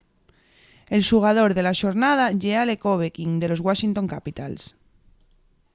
el xugador de la xornada ye alex ovechkin de los washington capitals